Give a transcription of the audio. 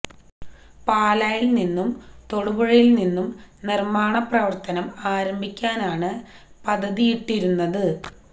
പാലായില് നിന്നും തൊടുപുഴയില് നിന്നും നിര്മ്മാണ പ്രവര്ത്തനം ആരംഭിക്കാനാണ് പദ്ധതിയിട്ടിരുന്നത്